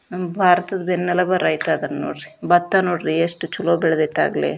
ನಮ್ಮ ಭಾರತದ ನೆಲಭಾರ ಐತಿ ಅದಾನ ನೋಡ್ರಿ ಭತ್ತ ನೋಡ್ರಿ ಎಷ್ಟು ಚೊಲೋ ಬೆಳೆದೈತಿ ಆಗ್ಲೆ.